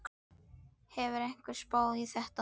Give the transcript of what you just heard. Hefur einhver spáð í þetta?